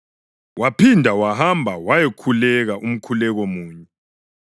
Waphinda wahamba wayakhuleka umkhuleko munye.